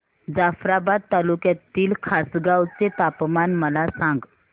जाफ्राबाद तालुक्यातील खासगांव चे तापमान मला सांग